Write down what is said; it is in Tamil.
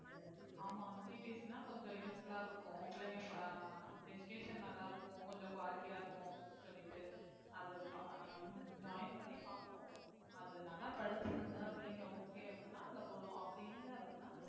ஆமா CBSE ன்னா கொஞ்சம் useful ஆ இருக்கும் பிள்ளைங்க ஆஹ் education நல்லா இருக்கும் கொஞ்சம் quality ஆ இருக்கும் அப்படின்னு சொல்லிட்டு அது பா~ நம்ம வந்து join பண்ணி பார்ப்போம் அது நல்லா படிச்சதுங்க பிள்ளைங்க okay அப்படின்னா அதுல போடுவோம் அப்படி இல்லை அப்படின்னா